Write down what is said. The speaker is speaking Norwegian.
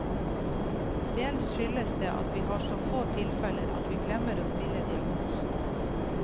Dels skyldes det at vi har så få tilfeller at vi glemmer å stille diagnosen.